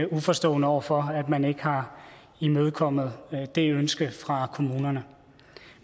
uforstående over for at man ikke har imødekommet det ønske fra kommunerne